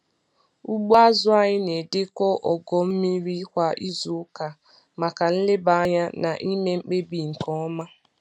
Ugbo azụ anyị na-edekọ ogo mmiri kwa izuụka maka nleba anya na ime mkpebi nke ọma.